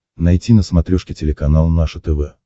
найти на смотрешке телеканал наше тв